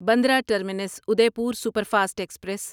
Bandra terminus Udaipur superfast express